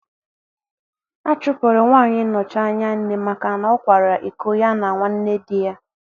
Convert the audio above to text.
A chụpụrụ nwanyị nnochi anya nne maka na ọ kwara iko ya na nwanne di ya